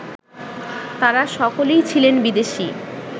তাঁরা সকলেই ছিলেন বিদেশী